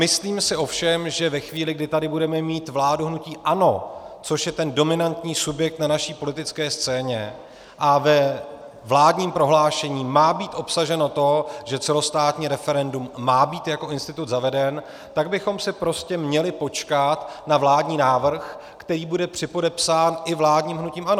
Myslím si ovšem, že ve chvíli, kdy tady budeme mít vládu hnutí ANO, což je ten dominantní subjekt na naší politické scéně, a ve vládním prohlášení má být obsaženo to, že celostátní referendum má být jako institut zaveden, tak bychom si prostě měli počkat na vládní návrh, který bude připodepsán i vládním hnutím ANO.